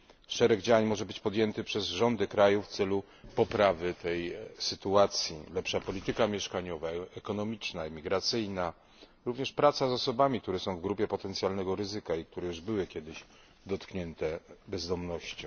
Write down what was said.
Szereg działań może zostać podjętych przez rządy krajów w celu poprawy tej sytuacji lepsza polityka mieszkaniowa, ekonomiczna, emigracyjna, również praca z osobami, które są w grupie potencjalnego ryzyka i które już były kiedyś dotknięte bezdomnością.